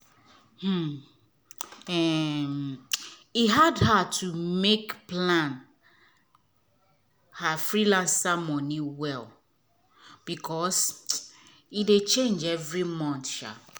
um um e hard her to make plan her freelance money well because um e dey change every month um